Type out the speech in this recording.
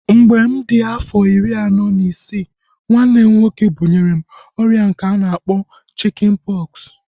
Mgbe mụ di afọ iri na isii, nwanne m nwoke bunyere m ọrịa nke a na-akpọ chikin pọksi